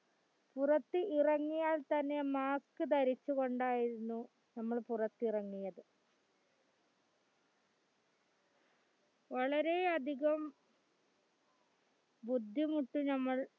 പുറത്ത് ഇറങ്ങിയാൽ തന്നെ mask ധരിച്ചുകൊണ്ടായിരുന്നു നമ്മൾ പുറത്തിറങ്ങിയത് വളരെയധികം ബുദ്ധിമുട്ട് നമ്മൾ